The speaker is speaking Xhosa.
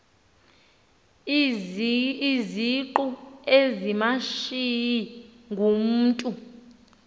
izingqu ezimashiyi ngumntu